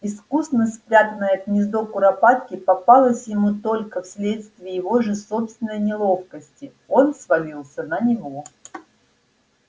искусно спрятанное гнездо куропатки попалось ему только вследствие его же собственной неловкости он свалился на него